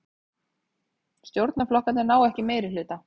Stjórnarflokkarnir ná ekki meirihluta